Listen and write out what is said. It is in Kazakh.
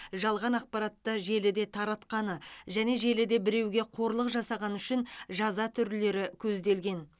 жалған ақпаратты желіде таратқаны және желіде біреуге қорлық жасағаны үшін жаза түрлері көзделген